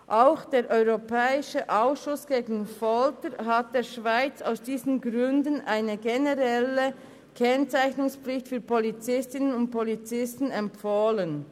Auch der europäische Ausschuss gegen Folter hat der Schweiz aus diesen Gründen eine generelle Kennzeichnungspflicht für Polizistinnen und Polizisten empfohlen.